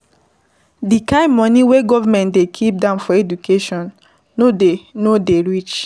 Di kind money wey government dey keep down for education no dey no dey reach